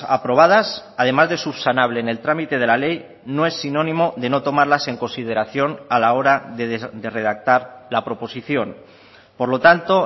aprobadas además de subsanable en el trámite de la ley no es sinónimo de no tomarlas en consideración a la hora de redactar la proposición por lo tanto